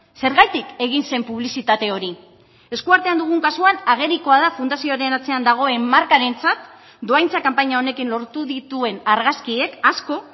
zergatik egin zen publizitate hori eskuartean dugun kasuan agerikoa da fundazioaren atzean dagoen markarentzat dohaintza kanpaina honekin lortu dituen argazkiek asko